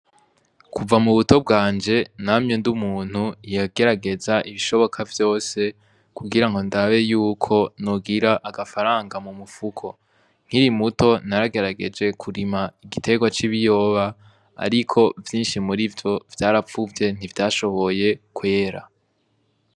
Kuva mu buto bwanje namye ndi umuntu yagerageza ibishoboka vyose kugira ngo ndabe yuko nugira agafaranga mu mupfuko nkiri muto naragerageje kurima igiterwa c'ibiyoba, ariko vyinshi muri vyo vyarapfuvye ntivyashoboye kwera.